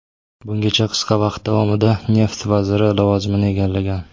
Bungacha qisqa vaqt davomida neft vaziri lavozimini egallagan.